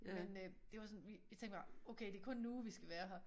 Men øh det var sådan vi vi tænkte bare okay det kun en uge vi skal være her